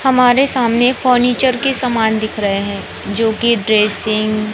हमारे सामने फर्नीचर के समान दिख रहे हैं जोकि ड्रेसिंग --